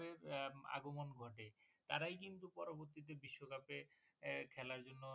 আগমন ঘটে তারাই কিন্তু পরবর্তীতে বিশ্বকাপে আহ খেলার জন্য